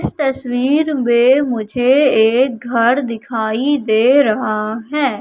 इस तस्वीर में मुझे एक घर दिखाई दे रहा है।